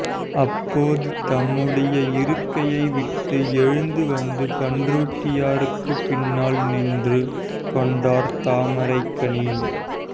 அப்போது தம்முடைய இருக்கையை விட்டு எழுந்து வந்து பண்ருட்டியாருக்கு பின்னால் நின்று கொண்டார் தாமரைக்கனி